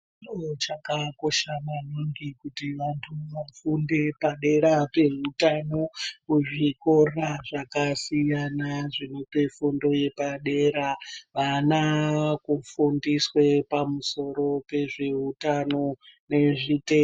Chiro chakakosha maningi kuti vantu vafunde padera pehutano kuzvikora zvakasiyana zvinope fundo yepadera. Vana vakufundiswe pamusoro pezvehutano nezvitenda.